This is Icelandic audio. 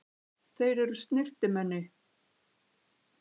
Þeir eru snyrtimenni.